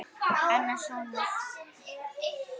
Annar sonur þeirra var Markús.